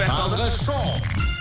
таңғы шоу